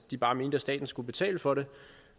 de bare mente at staten skulle betale for det